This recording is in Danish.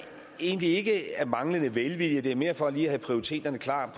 egentlig ikke af manglende vilje det er mere for lige at prioritere klart